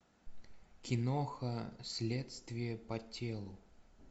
киноха следствие по телу